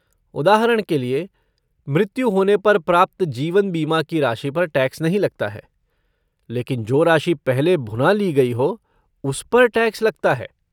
उदाहरण के लिए, मृत्यु होने पर प्राप्त जीवन बीमा की राशि पर टैक्स नहीं लगता है, लेकिन जो राशि पहले भुना ली गई हो, उस पर टैक्स लगता है।